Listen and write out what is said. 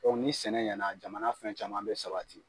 ni sɛnɛ ɲɛ na jamana fɛn caman bɛ sabati.